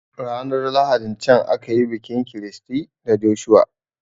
Ranar lahadin can akayi bikin Christy da Joshua